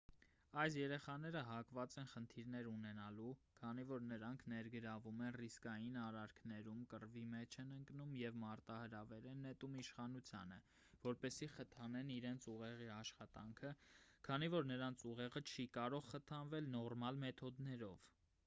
այս երեխաները հակված են խնդիրներ ունենալու քանի որ նրանք ներգրավվում են ռիսկային արարքներում կռվի մեջ են ընկնում և մարտահրավեր են նետում իշխանությանը որպեսզի խթանեն իրենց ուղեղի աշխատանքը քանի որ նրանց ուղեղը չի կարող խթանվել նորմալ մեթոդներով